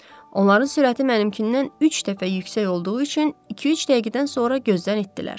Onların sürəti mənimkindən üç dəfə yüksək olduğu üçün iki-üç dəqiqədən sonra gözdən itdilər.